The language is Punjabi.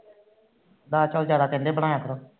ਦਾਲ ਚੋਲ ਜਾਂਦਾ ਕਹਿੰਦੇ ਬਣਾਇਆ ਕਰ